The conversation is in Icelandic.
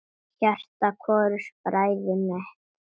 Hjarta hvorugs bræðir hitt.